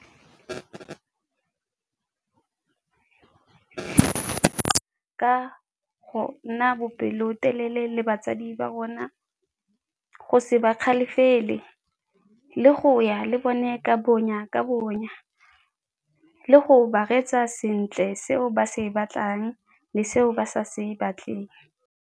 Ka go nna bopelotelele le batsadi ba rona, go se bakgalefele le go ya le bone ka bonya ka bonya. Le go ba reetsa sentle se o ba se batlang le se o ba sa se batleng.